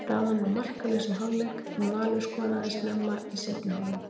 Staðan var markalaus í hálfleik en Valur skoraði snemma í seinni hálfleik.